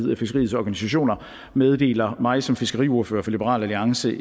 fiskeriets organisationer meddelte mig som fiskeriordfører for liberal alliance